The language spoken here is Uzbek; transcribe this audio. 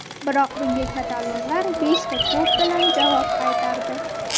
Biroq bunga katalonlar beshta to‘p bilan javob qaytardi.